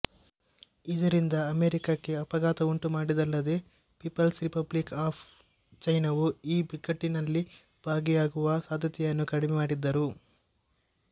ಇದರಿಂದ ಅಮೆರಿಕಕ್ಕೆ ಆಘಾತವುಂಟುಮಾಡಿದ್ದಲ್ಲದೆ ಪೀಪಲ್ಸ್ ರಿಪಬ್ಲಿಕ್ ಆಫ್ ಚೈನಾವು ಈ ಬಿಕ್ಕಟ್ಟಿನಲ್ಲಿ ಭಾಗಿಯಾಗುವ ಸಾಧ್ಯತೆಯನ್ನು ಕಡಿಮೆ ಮಾಡಿದರು